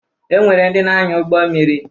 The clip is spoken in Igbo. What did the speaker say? E nwere ndị na-anya ụgbọ mmiri